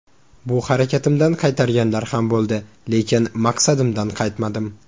Bu harakatimdan qaytarganlar ham bo‘ldi, lekin maqsadimdan qaytmadim.